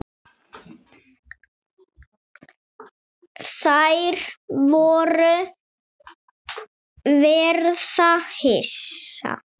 Þær munu verða hissa.